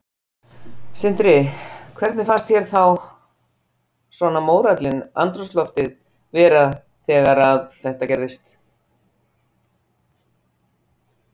Sindri: Hvernig fannst þér þá svona mórallinn, andrúmsloftið vera þegar þetta gerðist?